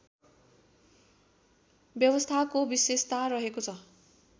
व्यवस्थाको विशेषता रहेको छ